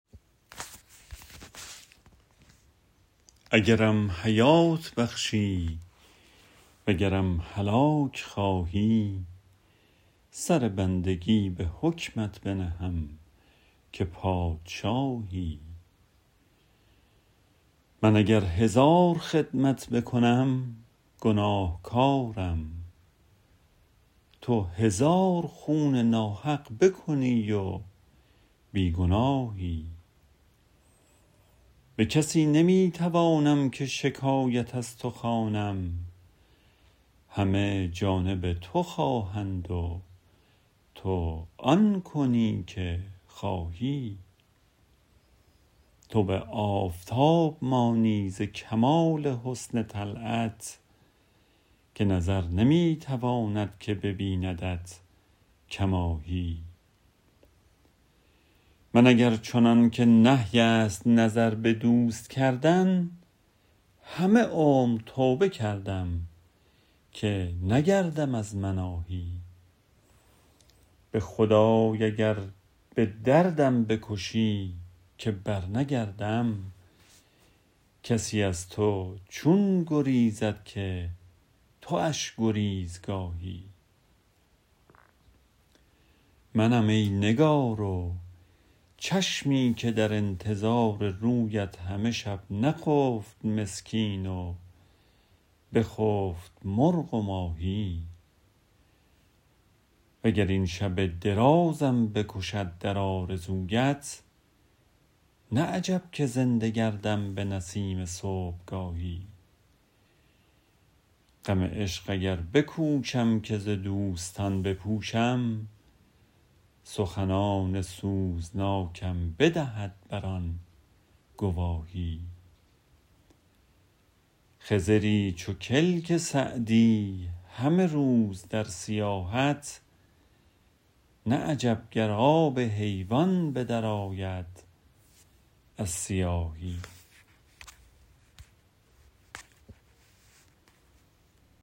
اگرم حیات بخشی وگرم هلاک خواهی سر بندگی به حکمت بنهم که پادشاهی من اگر هزار خدمت بکنم گناهکارم تو هزار خون ناحق بکنی و بی گناهی به کسی نمی توانم که شکایت از تو خوانم همه جانب تو خواهند و تو آن کنی که خواهی تو به آفتاب مانی ز کمال حسن طلعت که نظر نمی تواند که ببیندت کماهی من اگر چنان که نهی است نظر به دوست کردن همه عمر توبه کردم که نگردم از مناهی به خدای اگر به دردم بکشی که برنگردم کسی از تو چون گریزد که تواش گریزگاهی منم ای نگار و چشمی که در انتظار رویت همه شب نخفت مسکین و بخفت مرغ و ماهی و گر این شب درازم بکشد در آرزویت نه عجب که زنده گردم به نسیم صبحگاهی غم عشق اگر بکوشم که ز دوستان بپوشم سخنان سوزناکم بدهد بر آن گواهی خضری چو کلک سعدی همه روز در سیاحت نه عجب گر آب حیوان به درآید از سیاهی